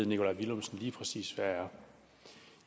nikolaj villumsen lige præcis hvad er